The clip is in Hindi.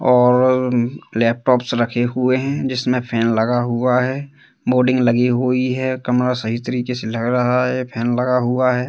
और अ लैपटॉप्स रखे हुए हैं जिसमें फैन लगा हुआ है बोर्डिंग लगी हुई है कमरा सही तरीके से लग रहा है फैन लगा हुआ है।